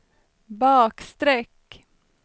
bakstreck